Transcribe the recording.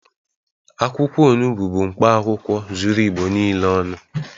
Akwụkwọ onubu bụ mkpaakwụkwọ zuru Igbo niile ọnụ